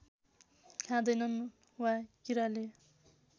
खादैनन् वा किराले